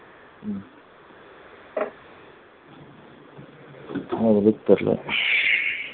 என்ன வழி தெரியல